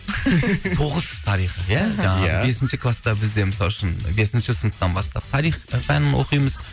тоғыз тарих ия ия жаңағы бесінші класта бізде мысалы үшін бесінші сыныптан бастап тарих пәнін оқимыз